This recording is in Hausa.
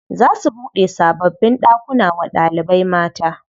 Za su buɗe sababbin ɗakuna wa ɗalibai mata.